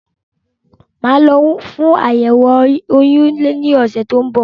Màá lọ fún àyẹ̀wò oyún ní ọ̀sẹ̀ tó ń bọ̀